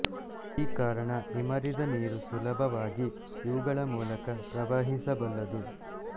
ಈ ಕಾರಣ ಇಮರಿದ ನೀರು ಸುಲಭವಾಗಿ ಇವುಗಳ ಮೂಲಕ ಪ್ರವಹಿಸಬಲ್ಲದು